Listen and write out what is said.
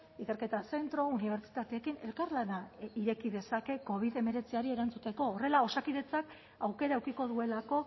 ikerketa zentro unibertsitateekin elkarlana ireki dezake covid hemeretziari erantzuteko horrela osakidetzak aukera edukiko duelako